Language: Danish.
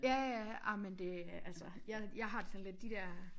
Ja ja ej men det er altså jeg jeg har det lidt sådan de der